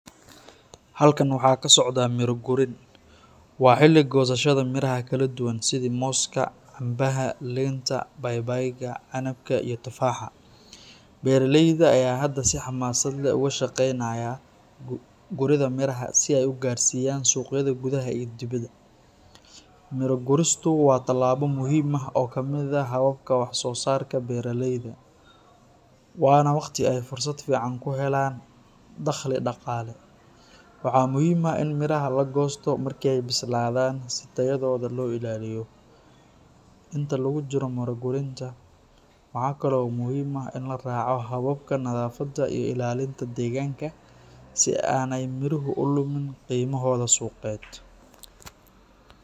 Halkan waxaa ka socdaa miro gurin. Waa xilli goosashada miraha kala duwan sida mooska, cambaha, liinta, babaayga, canabka, iyo tufaaxa. Beeraleyda ayaa hadda si xamaasad leh uga shaqeynaya guridda miraha si ay u gaarsiiyaan suuqyada gudaha iyo dibadda. Miro guristu waa tallaabo muhiim ah oo ka mid ah habka wax-soo-saarka beeraleyda, waana waqti ay fursad fiican ku helaan dakhli dhaqaale. Waxaa muhiim ah in miraha la goosto marka ay bislaadaan si tayadooda loo ilaaliyo. Inta lagu jiro miro gurinta, waxaa kale oo muhiim ah in la raaco hababka nadaafadda iyo ilaalinta deegaanka si aanay miruhu u lumin qiimahooda suuqeed.